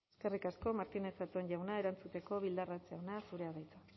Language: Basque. eskerrik asko martínez zatón jauna erantzuteko bildarratz jauna zurea da hitza